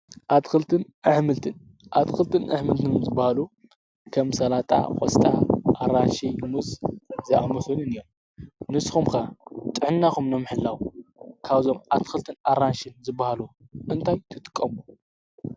ልንኣምልትን ኣትክልትን ኣኅምልትን ዝበሃሉ ከም ሰላጣ ኾስጣ ኣራሽ ሙዝ ዝኣምሑንን እዮን ንስኹምካ ጥሕናኹም ነምሕላው ካብዞም ኣትክልትን ኣራንሽን ዝበሃሉ እንታይ ትትቀሙ